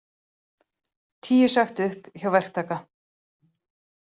Tíu sagt upp hjá verktaka